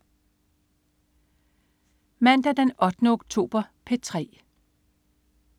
Mandag den 8. oktober - P3: